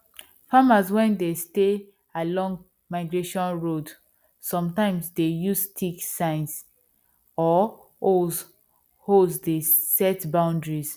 farmers wen dey stay along migration road sometimes dey use sticks signs or holes holes dey set boundaries